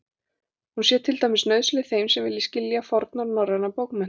Hún sé til dæmis nauðsynleg þeim sem vilji skilja fornar norrænar bókmenntir.